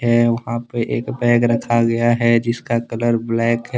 है वहां पे एक बैग रखा गया है जिसका कलर ब्लैक है।